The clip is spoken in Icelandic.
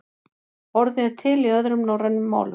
Orðið er til í öðrum norrænum málum.